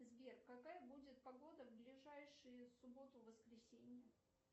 сбер какая будет погода в ближайшие субботу воскресенье